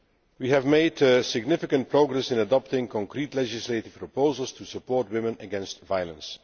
We have made significant progress in adopting concrete legislative proposals to support women against violence.